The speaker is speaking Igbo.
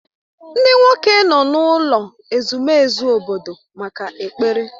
Ndị nwoke nọ n'ụlọ ezumezu obodo maka ekpere